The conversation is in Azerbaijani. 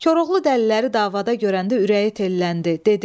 Koroğlu dəliləri davada görəndə ürəyi telləndi, dedi: